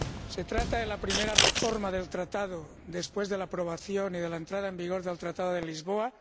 Se trata de la primera reforma del Tratado después de la aprobación y de la entrada en vigor del Tratado de Lisboa.